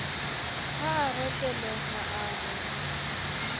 ha a reteleha a re